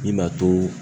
I ma to